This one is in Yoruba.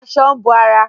Aṣọ ń bo ara